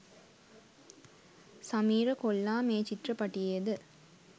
සමීර කොල්ලා මේ චිත්‍රපටියෙද